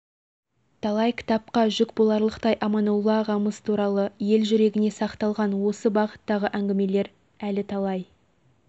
талай кітапқа жүк боларлықтай аманолла ағамыз туралы ел жүрегіне сақталған осы бағыттағы әңгімелер әлі талай